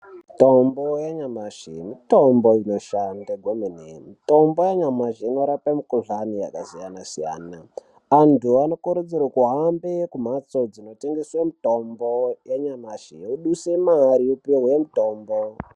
Mutombo yanyamashi mutombo inoshanda kwemene mutombo yanyamashi inorapa mikuhlani yakasiyana siyana. Antu anokurudzirwa ahambe kumphatso dzinotengese mitombo yanyamashi eiduse mari eipuhwe mutombo.